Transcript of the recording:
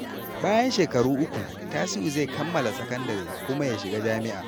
Bayan shekaru uku, Tasiu zai kammala sakandare kuma ya shiga jami’a.